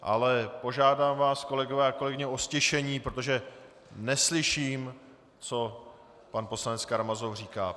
Ale požádám vás, kolegyně a kolegové, o ztišení, protože neslyším, co pan poslanec Karamazov říká.